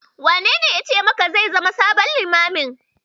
Wanene yace maka zai zama sabon Limamin?